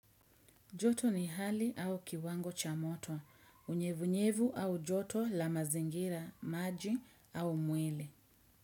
Joto ni hali au kiwango cha moto. Unyevunyevu au joto la mazingira, maji au mwele.